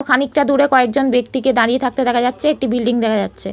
খানিকটা দূরে কয়েক জন ব্যাক্তিকে দাঁড়িয়ে থাকতে দেখা যাচ্ছে। একটি বিল্ডিং দেখা যাচ্ছে।